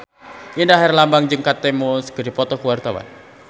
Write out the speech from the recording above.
Indra Herlambang jeung Kate Moss keur dipoto ku wartawan